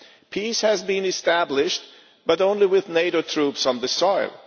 Peace has been established, but only with NATO troops on the ground.